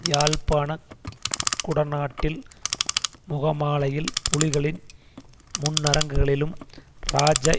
யாழ்ப்பாண குடநாட்டில் முகமாலையில் புலிகளின் முன்னரங்குகளிலும் இராஜ